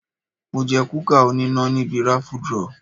Mo jẹ kúkà oníná níbi raffle draw.